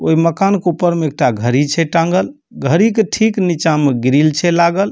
ओय मकान के ऊपर में एकटा घड़ी छै टाँगल घड़ी के ठीक नीचा में ग्रिल छै लागल।